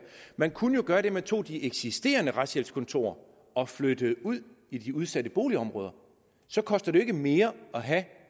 man kunne jo gøre det at man tog de eksisterende retshjælpskontorer og flyttede dem ud i de udsatte boligområder så koster det jo ikke mere at have